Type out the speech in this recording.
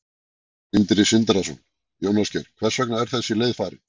Sindri Sindrason: Jón Ásgeir, hvers vegna var þessi leið farin?